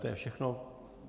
To je všechno.